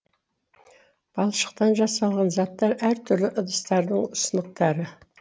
балшықтан жасалған заттар әр түрлі ыдыстардың сынықтары